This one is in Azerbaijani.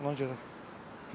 Ona görə bilmirəm.